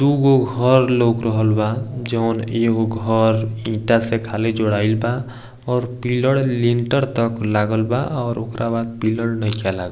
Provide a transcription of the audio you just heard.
दूगो घर लौक रहल बा जउन एगो घर ईटा से खाली जोराईल बा और पिलर लिंटर तक लागल बा और औकरा बाद पिलर नहिखे लागल।